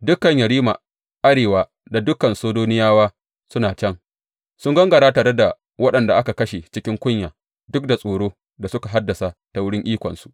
Dukan yerima arewa da dukan Sidoniyawa suna can; sun gangara tare da waɗanda aka kashe cikin kunya duk da tsoron da suka haddasa ta wurin ikonsu.